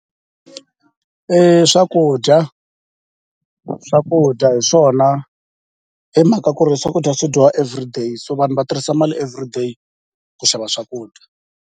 I swakudya swakudya hi swona hi mhaka ku ri swakudya swi dyiwa every day so vanhu va tirhisa mali everyday ku xava swakudya.